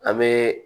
An bɛ